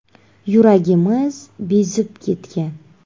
– Yuragimiz bezib ketgan.